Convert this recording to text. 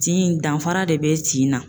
Tin in danfara de be tin na